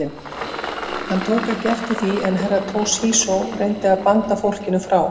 Hann tók ekki eftir því en Herra Toshizo reyndi að banda fólkinu frá.